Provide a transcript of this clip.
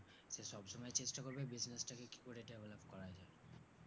সব সময় চেষ্টা করবো business টাকে কি ভাবে develop